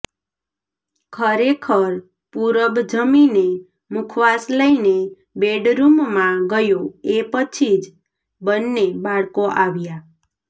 ખરેખર પૂરબ જમીને મુખવાસ લઈને બેડરૂમમાં ગયો એ પછી જ બંને બાળકો આવ્યાં